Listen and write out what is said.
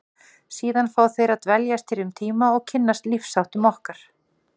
Síðan fá þeir að dveljast hér um tíma og kynnast lífsháttum okkar.